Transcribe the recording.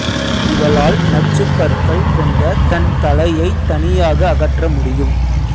இவளால் நச்சுப் பற்கள் கொண்ட தன் தலையைத் தனியாக அகற்ற முடியும்